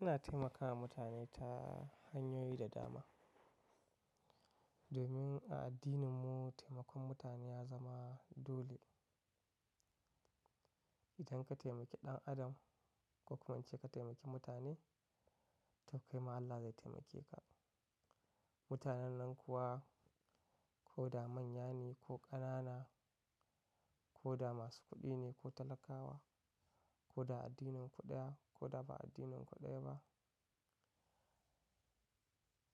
Ina taimakawa mutane ta hanyoyi da dama. Domin a addininmu taimakon mutane ya zama dole. Idan ka taimaki ɗan adam ko kuma an ce ka taimaki mutane, to kai ma Allah zai taimake ka. Mutanen nan kuwa ko da manya ne ko ƙanana, ko da masu kuɗi ne ko talakawa, ko da addinin ku ɗaya ko da ba addinin ku ɗaya ba,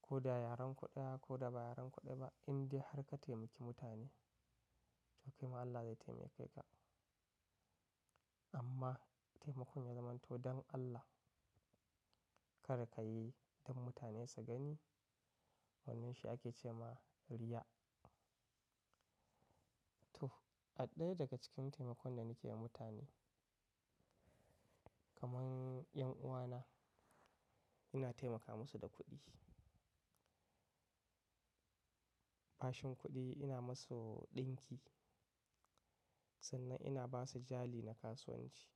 ko da yaren ku ɗaya ko da ba yaren kuɗi ɗaya ba, indiya har ka taimaki mutane, to kai ma Allah zai taimake ka. Amma taimakon ya zamanto don Allah, kar ka yi don mutane su gani. Wannan shi ake ce ma riya. To, ɗaya daga cikin taimakon da nake yi da mutane kamar 'yan uwana, ina taimaka musu da kuɗi. Bashin kuɗi ina musu ɗinki, sannan ina ba su jali na kasuwanci.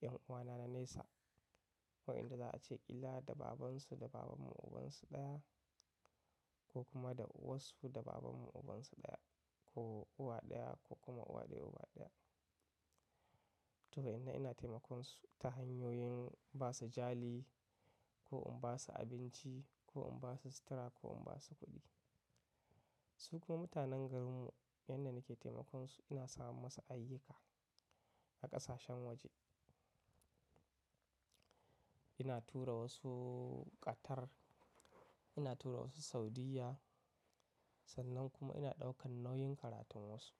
'Yan uwana na nesa wa'inda za a ce ƙila da babansu da babanmu ubansu ɗaya ko kuma da uwarsu da babanmu ubansu ɗaya ko uwa ɗaya ko kuma uwa ɗaya uba ɗaya. To inda ina taimakon su ta hanyoyin ba su jali ko in ba su abinci ko in ba su sutura ko in ba su kuɗi. Su kuma mutanen garinmu wanda nake taimakon su ina samar musu ayyuka a ƙasashen waje. Ina tura wasu Qatar, ina tura wasu Saudiyya, sannan kuma ina ɗaukan nauyin karatun wasu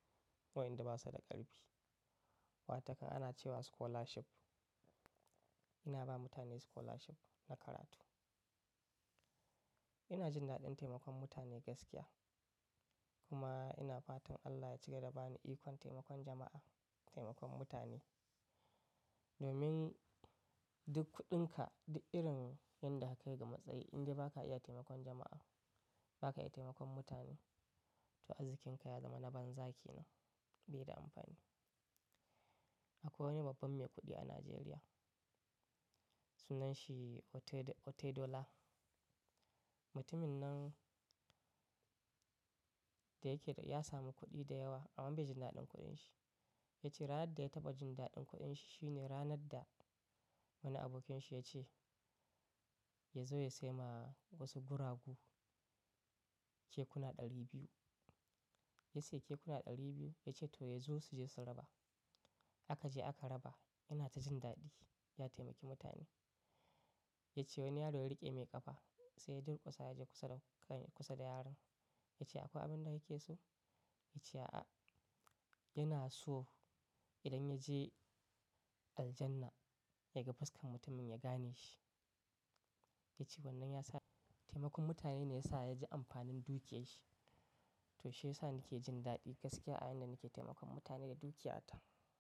wa'inda ba su da ƙarfi. Wataan ana cewa scholarship. Ina ba mutane scholarship na karatu. Ina jin daɗin taimakon mutane gaskiya kuma ina fatan Allah ya cigaba da bani ikon taimakon jama'a, taimakon mutane. Domin duk kuɗinka, duk irin yanda ka kai ga matsayi indai ba ka iya taimakon jama'a, ba ka iya taimakon mutane, to arzikin ka ya zama na banza kenan, bai da amfani. Akwai wani babban mai kuɗi a Najeriya. Sunan shi Otedola. Mutumin nan da yake da ya samu kuɗi da yawa amma bai ji daɗin kuɗin shi. Ya ce ranar da ya taɓa jin daɗin kuɗin shi shi ne ranar da wani abokinsa ya ce ya zo ya sai ma wasu guragu kekuna ɗari biyu. Ya sayi kekuna ɗari biyu ya ce to ya zo su je su raba. A ka je aka raba. Yana ta jin daɗi, ya taimaki mutane. Ya ce wani yaro ya riƙe mai ƙafa sai ya durƙusa ya je kusa da yaron. Ya ce akwai abin da yake so? Ya ce a'a. Yana so idan ya je Aljannah ya ga fuskar mutumin ya gane shi. Ya ce wannan ya sa taimakon mutane ne ya sa ya ji amfanin dukiyar shi. To shi ya sa nake jin daɗi gaskiya a yayinda nake taimakon mutane da dukiya ta.